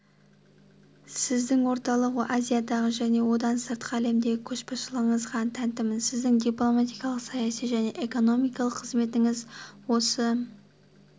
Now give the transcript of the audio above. сіздің орталық азиядағы және одан сыртқы әлемдегі көшбасшылығыңызға тәнтімін сіздің дипломатиялық саяси және экономикалық қызметіңіз осы